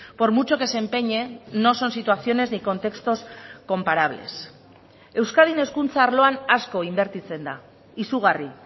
por mucho que se empeñen no son situaciones ni contextos comparables euskadin hezkuntza arloan asko inbertitzen da izugarri